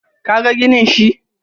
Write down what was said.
ka ka ga ginin shi?